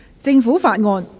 政府法案。